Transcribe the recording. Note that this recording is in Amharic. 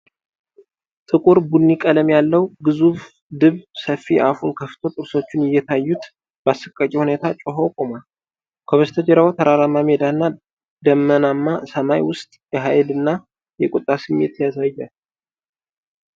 ጥቁር ቡኒ ቀለም ያለው ግዙፍ ድብ፣ ሰፊ አፉን ከፍቶ ጥርሶቹ እየታዩት በአሰቃቂ ሁኔታ ጮኾ ቆሟል፤ ከበስተጀርባው በተራራማ ሜዳ እና ደመናማ ሰማይ ውስጥ የኃይልና የቁጣ ስሜት ያሳያልን?